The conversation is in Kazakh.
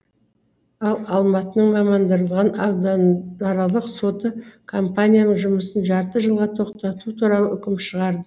ал алматының мамандандырылған ауданаралық соты компанияның жұмысын жарты жылға тоқтату туралы үкім шығарды